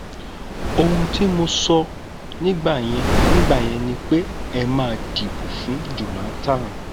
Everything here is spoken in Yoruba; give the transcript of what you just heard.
ohun tí mo sọ nígbà yẹn nígbà yẹn ni pé ẹ má dìbò fún jonathan